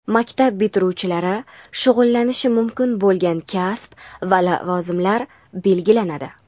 maktab bitiruvchilari shug‘ullanishi mumkin bo‘lgan kasb va lavozimlar belgilanadi.